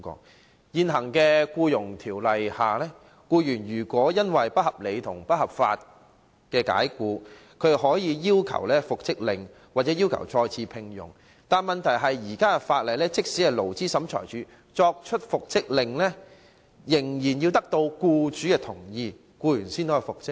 在現行《僱傭條例》下，僱員如被不合理及不合法解僱，可要求復職或再次聘用，但問題是即使勞資審裁處頒布復職令，仍要獲得僱主同意，僱員才可復職。